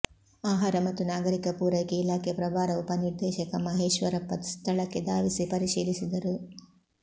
ಆಹಾರ ಮತ್ತು ನಾಗರಿಕ ಪೂರೈಕೆ ಇಲಾಖೆ ಪ್ರಭಾರ ಉಪನಿರ್ದೇಶಕ ಮಹೇಶ್ವರಪ್ಪ ಸ್ಥಳಕ್ಕೆ ಧಾವಿಸಿ ಪರಿಶೀಲಿಸಿದರು